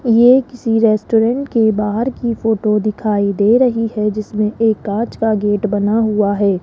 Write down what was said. ये किसी रेस्टोरेंट के बाहर की फोटो दिखाई दे रही है जिसमें एक कांच का गेट बना हुआ है।